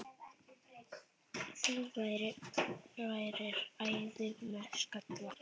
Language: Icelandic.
Þú værir æði með skalla!